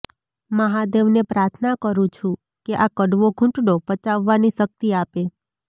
મહાદેવને પ્રાર્થના કરું છું કે આ કડવો ઘૂંટડો પચાવવાની શક્તિ આપે